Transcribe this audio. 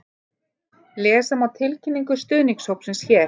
Lesa má tilkynningu stuðningshópsins hér